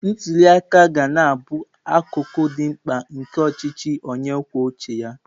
Ntuli aka ga na-abụ akụkụ dị mkpa nke ọchịchị onye kwuo uche ya.